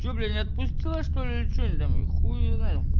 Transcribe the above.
че бля не отпустила что-ли или че ты там хуй её знает